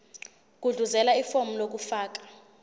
gudluzela ifomu lokufaka